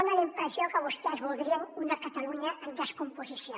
fa la impressió que vostès voldrien una catalunya en descomposició